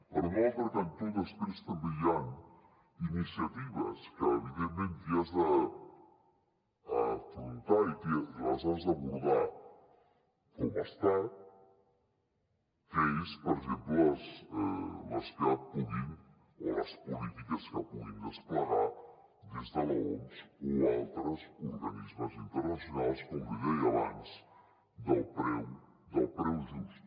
per un altre cantó després també hi han iniciatives que evidentment t’hi has d’afrontar i les has d’abordar com a estat que són per exemple les polítiques que puguin desplegar des de l’oms o altres organismes internacionals com li deia abans del preu just